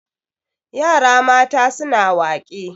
yara mata suna wake